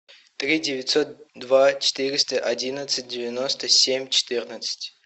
три девятьсот два четыреста одиннадцать девяносто семь четырнадцать